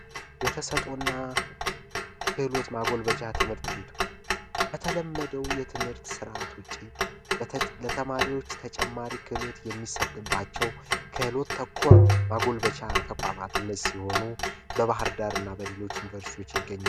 የተሰጦና ክህሎት ማጎልበቻ ትምህርት ቤቶች ከተለመደው ትምህርተ ውጪ ለተማሪዎች ተጨማሪ ክህሎት የሚሰጥባቸው ክህሎት ተኮር ማጎልበቻ ተቋማት እነዚህ ሲሆኑ በባህር ዳርና በሌሎች ዩኒቨርሲቲዎች ይገኛሉ።